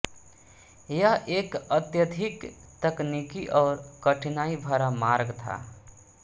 यह एक अत्यधिक तकनीकी और कठिनाई भरा मार्ग था